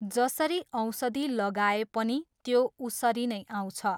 जसरी ओषधि लगाए पनि त्यो उसरी नै आउँछ।